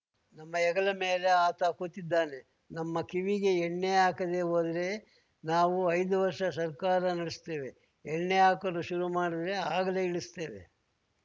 ನಮ್ಮ ಹೆಗಲ ಮೇಲೆ ಆತ ಕೂತಿದ್ದಾನೆ ನಮ್ಮ ಕಿವಿಗೆ ಎಣ್ಣೆ ಹಾಕದೇ ಹೋದ್ರೆ ನಾವು ಐದು ವರ್ಷ ಸರ್ಕಾರ ನಡೆಸ್ತೇವೆ ಎಣ್ಣೆ ಹಾಕಲು ಶುರು ಮಾಡಿದ್ರೆ ಆಗಲೇ ಇಳಿಸ್ತೇವೆ